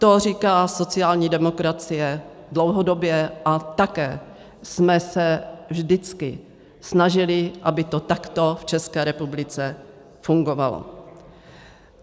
To říká sociální demokracie dlouhodobě a také jsme se vždycky snažili, aby to takto v České republice fungovalo.